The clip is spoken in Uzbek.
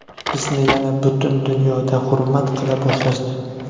Bizni yana butun dunyoda hurmat qila boshlashdi.